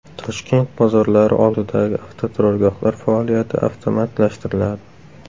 Toshkent bozorlari oldidagi avtoturargohlar faoliyati avtomatlashtiriladi.